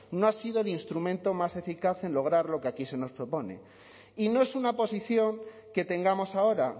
no ha sido el instrumento más eficaz en lograr lo que aquí se nos propone y no es una posición que tengamos ahora